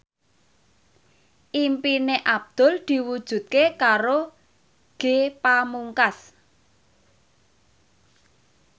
impine Abdul diwujudke karo Ge Pamungkas